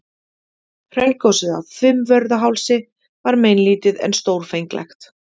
Hraungosið á Fimmvörðuhálsi var meinlítið en stórfenglegt.